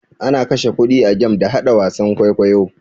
Ana kashe kuɗi a game da haɗa wasan kwaikwayo.